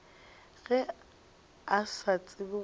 ge a sa tsebe gore